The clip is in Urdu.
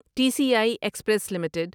T C I express limited